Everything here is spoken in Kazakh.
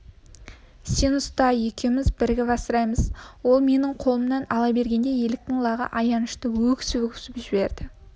сен ұста екеуіміз бірігіп асыраймыз ол менің қолымнан ала бергенде еліктің лағы аянышты өксіп-өксіп жіберді